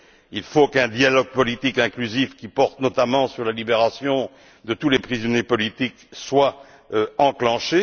Il faut qu'un dialogue politique inclusif, qui porte notamment sur la libération de tous les prisonniers politiques, soit enclenché.